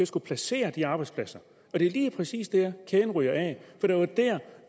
skulle placere de arbejdspladser er det lige præcis dér kæden ryger af for det var der